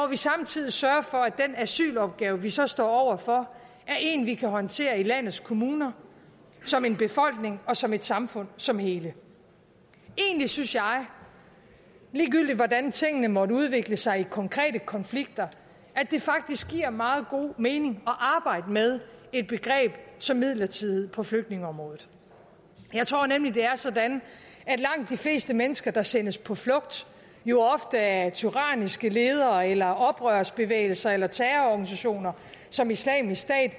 vi samtidig sørger for at den asylopgave vi så står over for er en vi kan håndtere i landets kommuner som en befolkning og som et samfund og som en helhed egentlig synes jeg ligegyldigt hvordan tingene måtte udvikle sig i konkrete konflikter at det faktisk giver meget god mening at arbejde med et begreb som midlertidighed på flygtningeområdet jeg tror nemlig at det er sådan at langt de fleste mennesker der sendes på flugt jo ofte af tyranniske ledere eller oprørsbevægelser eller terrororganisationer som islamisk stat